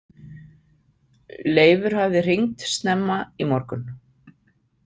Leifur hafði hringt snemma í morgun.